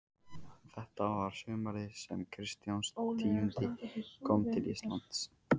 Og þetta var sumarið sem Kristján tíundi kom til Íslands.